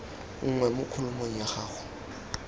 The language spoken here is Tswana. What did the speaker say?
nngwe mo kholomong ya go